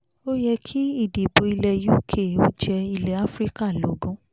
ó yẹ kí ìdìbò ilẹ̀ uk ó jẹ́ ilẹ̀ áfíríkà lógún